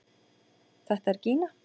Þetta er Gína!